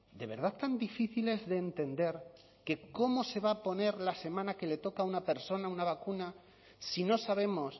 de verdad tan difícil es de entender que cómo se va a poner la semana que le toca a una persona una vacuna si no sabemos